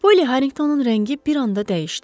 Poly Harringtonın rəngi bir anda dəyişdi.